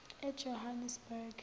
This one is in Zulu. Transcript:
ejohannesburg